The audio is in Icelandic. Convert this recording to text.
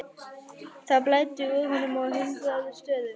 Það blæddi úr honum á hundrað stöðum.